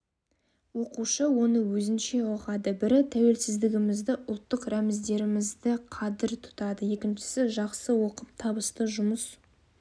оқушы оны өзінше ұғады бірі тәуелсіздігімізді ұлттық рәміздерімізді қадір тұтады екіншісі жақсы оқып табысты жұмыс